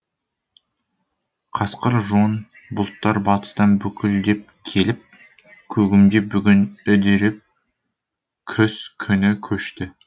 қасқыр жон бұлттар батыстан бүлкілдеп келіп көгімде бүгін үдеріп күз күні көшті